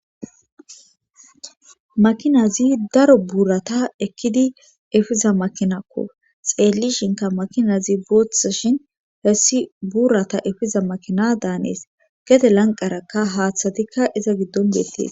makinazi daro buurata ekkidi efiza makinaakko xeellishinka makinazi booththashin hessi buurata efiza makina daanees gede lanqarakka haaththatikka iza giddon deettis